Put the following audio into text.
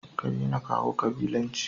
kadaina kawo kabilanci